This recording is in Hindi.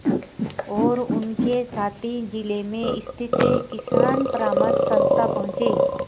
और उनके साथी जिले में स्थित किसान परामर्श संस्था पहुँचे